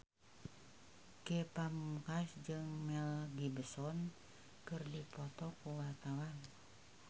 Ge Pamungkas jeung Mel Gibson keur dipoto ku wartawan